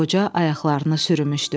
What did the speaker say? Qoca ayaqlarını sürürmüşdü.